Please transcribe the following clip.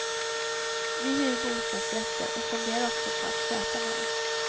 Vi hyr bostadsrätter och funderar också på att köpa några.